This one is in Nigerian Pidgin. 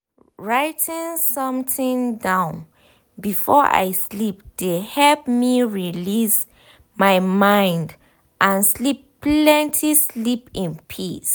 writing something down before i sleep de help me release my mind and sleep plenty sleep in peace.